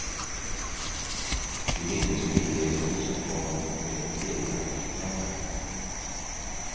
De mindes friheten som kom med egna pengar.